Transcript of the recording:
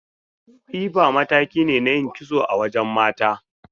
Tsifa mataki ne na yin kitso a wajen mata.